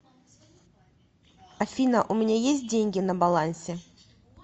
афина у меня есть деньги на балансе